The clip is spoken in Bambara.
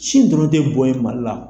Sin dɔrɔn tɛ bɔn ye mali la